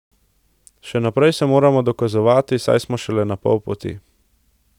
Še naprej se moramo dokazovati, saj smo šele na pol poti.